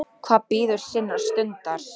Hvað bíður sinnar stundar.